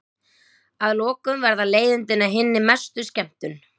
Að lokum verða leiðindin að hinni mestu skemmtun.